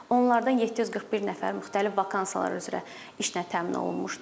Onlardan 741 nəfər müxtəlif vakansiyalar üzrə işlə təmin olunmuşdur.